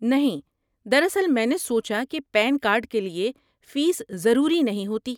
نہیں، دراصل میں نے سوچا کہ پین کارڈ کے لیے فیس ضروری نہیں ہوتی۔